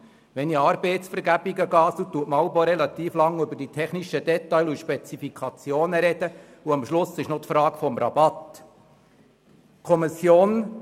Bei Arbeitsvergaben wird jeweils auch relativ lange über technische Details und Spezifikationen gesprochen, wobei sich schliesslich die Frage des Rabatts stellt.